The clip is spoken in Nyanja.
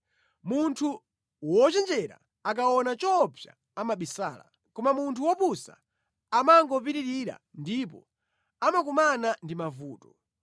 Munthu wochenjera akaona choopsa amabisala, koma munthu wopusa amangopitirira ndipo amakumana ndi mavuto.